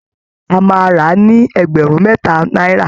A máa rà á ní ẹgbẹ̀rún mẹ́ta náírà